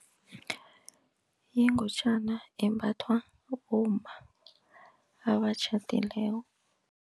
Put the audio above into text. Yingutjana embathwa bomma abatjhadileko.